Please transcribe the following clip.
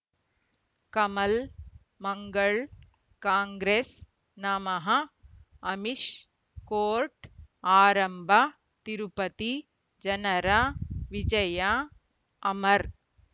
ಕಮಲ್ ಮಂಗಳ್ ಕಾಂಗ್ರೆಸ್ ನಮಃ ಅಮಿಷ್ ಕೋರ್ಟ್ ಆರಂಭ ತಿರುಪತಿ ಜನರ ವಿಜಯ ಅಮರ್